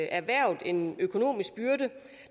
erhvervet en økonomisk byrde